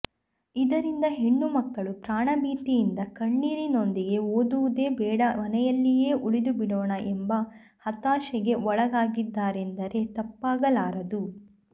ಇದರಿಂದ ಹೆಣ್ಣು ಮಕ್ಕಳು ಪ್ರಾಣ ಭೀತಿಯಿಂದ ಕಣ್ಣೀರಿನೊಂದಿಗೆ ಓದುವುದೇ ಬೇಡ ಮನೆಯಲ್ಲಿಯೇ ಉಳಿದುಬಿಡೋಣ ಎಂಬ ಹತಾಶೆಗೆ ಒಳಗಾಗಿದ್ದಾರೆಂದರೇ ತಪ್ಪಾಗಲಾರದು